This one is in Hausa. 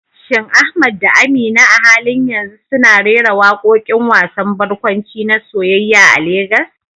Shin Ahmad da Amina a halin yanzu suna rera waƙoƙin wasan barkwanci na soyayya a Legas?